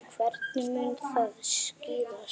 Hvenær mun það skýrast?